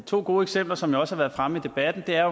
to gode eksempler som også har været fremme i debatten er